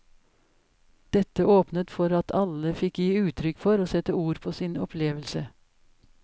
Dette åpnet for at alle fikk gi uttrykk for og sette ord på sin opplevelse.